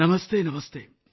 नमस्ते । नमस्ते ।